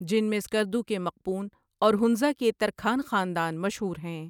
جن میں سکردو کے مقپون اور ہنزہ کے ترکھان خاندان مشہور ہیں ۔